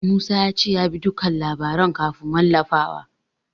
Musa ya ce ya bi dukkan labaran kafin wallafawa.